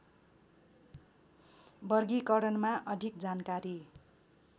वर्गीकरणमा अधिक जानकारी